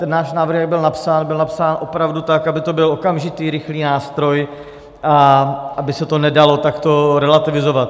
Ten náš návrh, jak byl napsán, byl napsán opravdu tak, aby to byl okamžitý rychlý nástroj a aby se to nedalo takto relativizovat.